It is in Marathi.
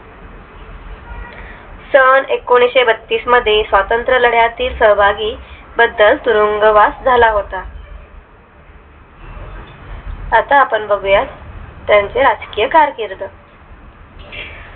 साल एकोणीशे बत्तीस मध्ये स्वतंत्रलढ्यातील सहभागी बदल तुरुंगवास झाला होता आता आपण बघूया त्यांचे राजकीय कारकीर्द